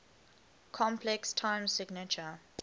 complex time signature